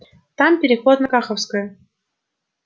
там переход на каховскую